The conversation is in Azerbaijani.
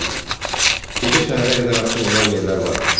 Dostum, gecə səhərə qədər açıq olan yerlər var.